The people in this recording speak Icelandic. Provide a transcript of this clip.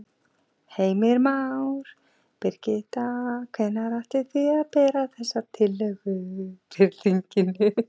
Heimir Már: Birgitta, hvenær ætlið þið að bera þessa tillögu upp fyrir þinginu?